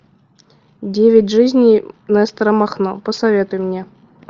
девять жизней нестора махно посоветуй мне